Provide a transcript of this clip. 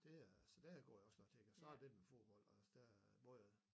Det er så det går jeg også nok til og så der lidt fodbold også der hvor jeg